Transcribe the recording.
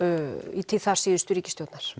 í tíð síðustu ríkisstjórnar